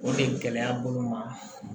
O de gɛlɛya bolo ma